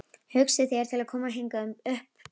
Hugsið þér til að koma hingað upp bráðum?